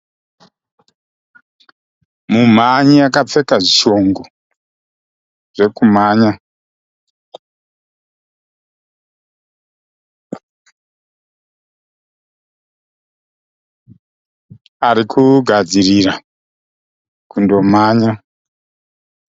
Mumhanyi akapfeka zvishongo zvekumhanya . Ari kugadzirira kundomhanya